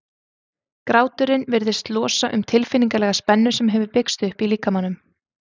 gráturinn virðist losa um tilfinningalega spennu sem hefur byggst upp í líkamanum